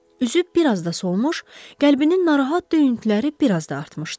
Üzü bir az da solmuş, qəlbinin narahat döyüntüləri bir az da artmışdı.